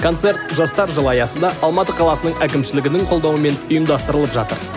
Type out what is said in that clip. концерт жастар жылы аясында алматы қаласының әкімшілігінің қолдауымен ұйымдастырылып жатыр